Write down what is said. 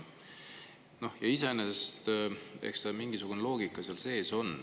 Eks seal iseenesest on mingisugune loogika sees.